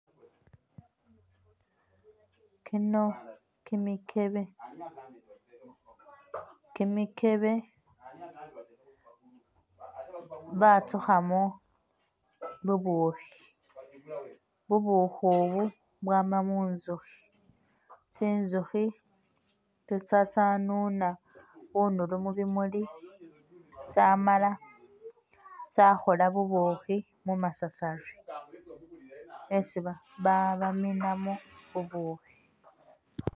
Kino kimikebe, kimikebe batsukhamo bubukhi, bubukhi ubu bwama mu'nzukhi, tsi'nzukhi tsitsa tsanuna bunulu mubimuli tsamala tsakhoola bubukhi mumasasari esi ba baminamo bubukhi